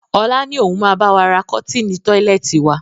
Ọlá ni òun máa bawa ra kọ́tinni tọ́lẹ́ẹ́tì wa.